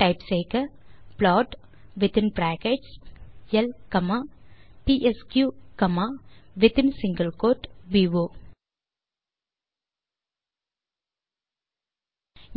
type செய்க plot within brackets L comma DSQ comma within single quote போ